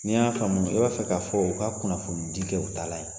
Ni n y'a faamu i b'a fɛ k'a fɔ u ka kunnafoni di kɛ u taalan ye.